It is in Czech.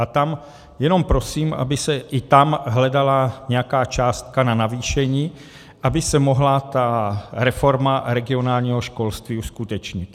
A tam jenom prosím, aby se i tam hledala nějaká částka na navýšení, aby se mohla ta reforma regionálního školství uskutečnit.